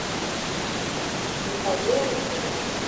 михаила ильина